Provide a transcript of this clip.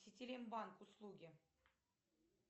ситилинк банк услуги